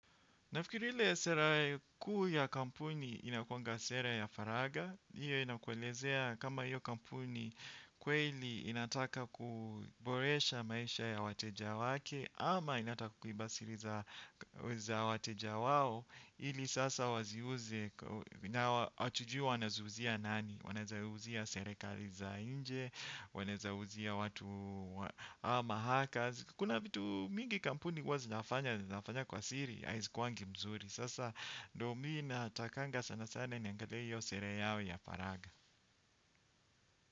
Nafikiri ile sera kuu ya kampuni inakuwanga sera ya faraga. Iyo inakuelezea kama hiyo kampuni kweli inataka kuboresha maisha ya wateja wake. Ama inata kukiba siri za wateja wao. Ili sasa waziuze. Waziuze wanazuzia nani. Waneza uzia serekali za inje. Waneza uzia watu ama haka. Kuna vitu mingi kampuni wazinafanya kwa siri. Haizikwangi mzuri. Sasa domina takanga sana sana. Niangadei yo sere yao ya faraga.